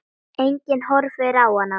Enginn horfir á hana.